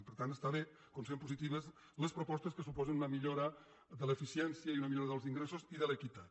i per tant està bé considerem positives les propostes que suposen una millora de l’eficiència i una millora dels ingressos i de l’equitat